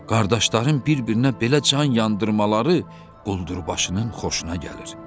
Qardaşların bir-birinə belə can yandırmaları quldurbaşının xoşuna gəlir.